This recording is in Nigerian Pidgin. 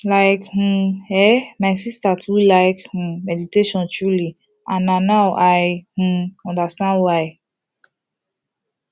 like um eh my sister too like um meditation truely and na now i um understand why